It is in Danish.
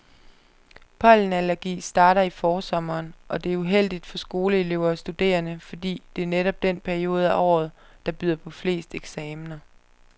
Pollenallergi starter i forsommeren, og det er uheldigt for skoleelever og studerende, fordi det netop er den periode af året, der byder på flest eksamener.